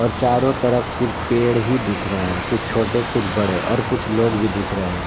और चारो तरफ सिर्फ पेड़ ही दिख रहे है कुछ छोटे कुछ बड़े और कुछ लोग भी दिख रहे हैं।